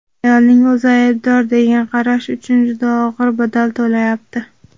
"ayolning o‘zi aybdor" degan qarash uchun juda og‘ir badal to‘layapti.